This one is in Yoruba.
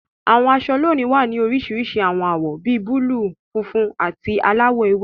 Àwọn aṣọ lónìí wá ní oríṣiríṣi àwọn awọ bí búlúù, funfun, àti aláwọ̀ ewé.